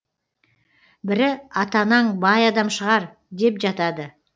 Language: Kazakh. бірі ата анаң бай адам шығар деп жатады